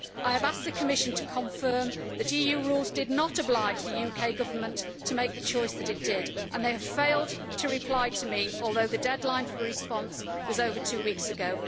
I have asked the Commission to confirm that EU rules did not oblige the UK Government to make the choice that it did and they have failed to reply to me, although the deadline for response was over two weeks ago.